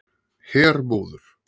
Hermóður